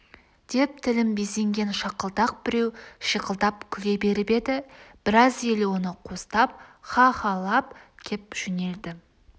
деп тілін безенген шақылдақ біреу шиқылдап күле беріп еді біраз ел оны қостап ха-халап кеп жөнелді